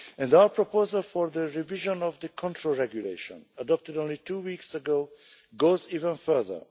Our proposal for the revision of the control regulation, adopted only two weeks ago, goes even further.